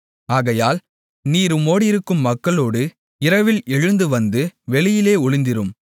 ஆகையால் நீர் உம்மோடிருக்கும் மக்களோடு இரவில் எழுந்து வந்து வெளியிலே ஒளிந்திருந்து